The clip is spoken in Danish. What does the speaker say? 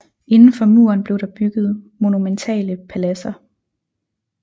Indenfor muren blev der bygget monumentale paladser